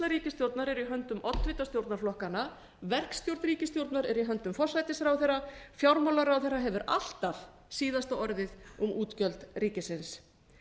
ríkisstjórnar er í höndum oddvita stjórnarflokkanna verkstjórn ríkisstjórnar er í höndum forsætisráðherra fjármálaráðherra hefur alltaf síðasta orðið um útgjöld ríkisins